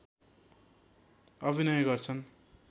अभिनय गर्छन्